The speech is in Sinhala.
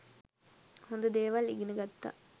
හොද දේවල් ඉගෙන ගත්තා.